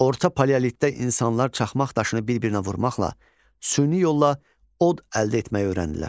Orta paleolitdə insanlar çaxmaq daşını bir-birinə vurmaqla süni yolla od əldə etməyi öyrəndilər.